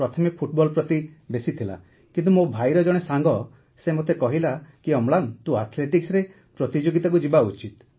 ପ୍ରଥମେ ଫୁଟବଲ ପ୍ରତି ବେଶି ଥିଲା କିନ୍ତୁ ମୋ ଭାଇର ଜଣେ ସାଙ୍ଗ ସେ ମତେ କହିଲା କି ଅମ୍ଳାନ ତୁ ଆଥ୍ଲେଟିକ୍ସରେ ପ୍ରତିଯୋଗିତାକୁ ଯିବା ଉଚିତ